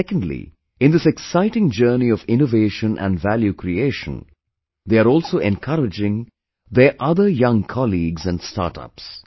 Secondly, in this exciting journey of innovation and value creation, they are also encouraging their other young colleagues and startups